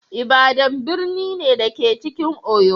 Ibadan birni ne, da ke cikin Oyo.